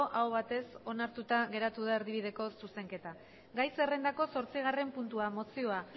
aho batez onartuta geratu da erdibideko zuzenketa gai zerrendako zortzigarren puntua mozioa